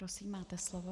Prosím, máte slovo.